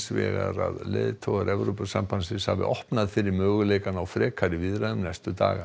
vegar að leiðtogar Evrópusambandsins hafi opnað fyrir möguleikann á frekari viðræðum næstu daga